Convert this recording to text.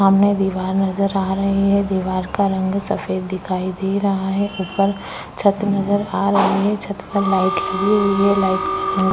सामने दीवार नजर आ रही है दीवार का रंग सफ़ेद दिखाई दे रहा है ऊपर छत नजर आ रहा है छत पर लाइट लगी हुई है लाइट में --